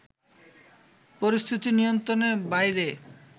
পরিস্থিতি নিয়ন্ত্রণের বাইরে